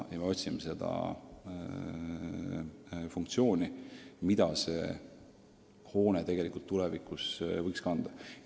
Me otsimegi funktsiooni, mida see kirik tulevikus võiks kanda.